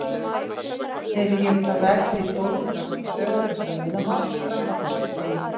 Hefi ég þá rakið í stórum dráttum sögu þessa lóðamáls fram að þessum degi.